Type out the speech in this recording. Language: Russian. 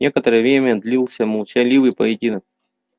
некоторое время длился молчаливый поединок